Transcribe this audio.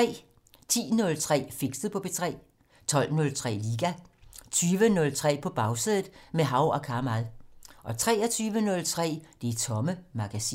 10:03: Fixet på P3 12:03: Liga 20:03: På Bagsædet - med Hav og Kamal 23:03: Det Tomme Magasin